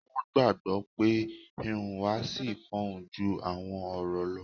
Wọ́n gbàgbọ́ pé 'ìhùwàsí fọhùn ju àwọn ọ̀rọ̀ lọ'